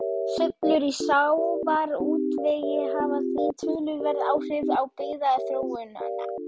Sveiflur í sjávarútvegi hafa því töluverð áhrif á byggðaþróunina.